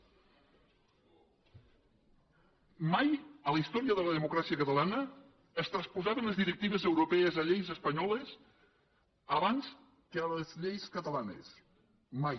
mai a la història de la democràcia catalana es transposaven les directives europees a lleis espanyoles abans que a les lleis catalanes mai